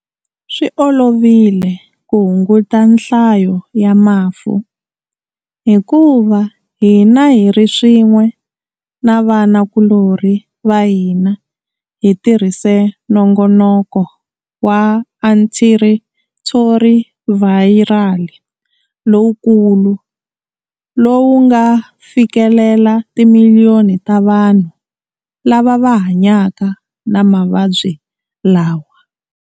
Swi olovile ku hunguta nhlayo ya mafu hikuva hina hi ri swin'we na vanakulorhi va hina hi tirhise nongonoko wa antirhithorivhayirali lowukulu lowu nga fikelela timiliyoni ta vanhu lava va hanyaka na mavabyi lawa.